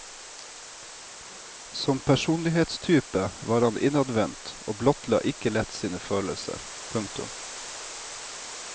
Som personlighetstype var han innadvendt og blottla ikke lett sine følelser. punktum